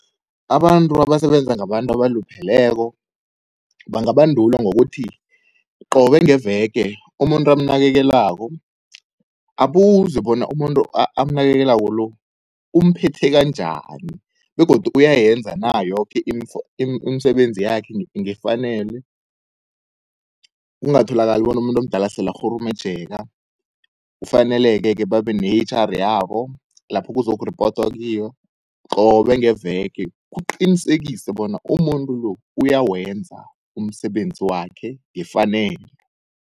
Abantu abasebenza ngabantu abalupheleko, bangabandulwa ngokuthi qobe ngeveke umuntu amnakekelako abuzwe bona umuntu amnakekelako lo, umphethe kanjani begodu uyayenza na yoke imisebenzi yakhe ngefanelo, kungatholakali bona umuntu omdala sele akghurumejeka. Kufaneleke-ke babe ne-H_R yabo, lapho kuzokurepotwa kiyo qobe ngeveke kuqinisekise bona umuntu lo uyawenza umsebenzi wakhe ngefanelo.